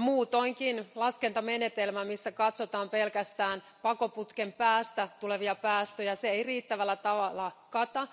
Muutoinkin laskentamenetelmä, missä katsotaan pelkästään pakoputken päästä tulevia päästöjä, ei riittävällä tavalla kata